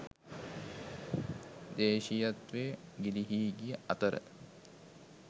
දේශීයත්වය ගිලිහී ගිය අතර